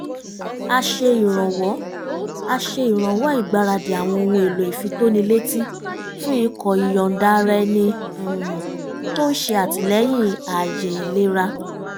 a ṣe ìrànwọ́ a ṣe ìrànwọ́ ìgbaradì àwọn ohun èlò ìfitónilétí fún ikọ̀ ìyọ̀ǹda-ara-ẹni um tó ń ṣe àtìlẹ́yìn ààyè ìlera